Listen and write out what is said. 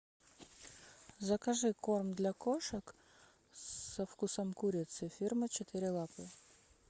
закажи корм для кошек со вкусом курицы фирма четыре лапы